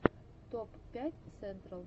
топ пять сентрал